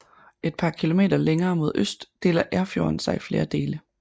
Et par kilometer længere mod øst deler Erfjorden sig i flere dele